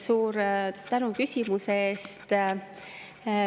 Siin oli väga palju aspekte.